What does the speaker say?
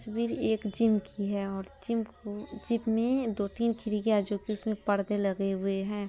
तस्वीर एक जिम की है और जिम में दो तीन खिड़किया जोकि उसमे परदे लगे हुए है।